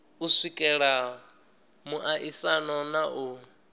u swikelela muaisano na u